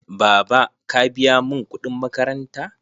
Baba, ka biya mun kuɗin makaranta?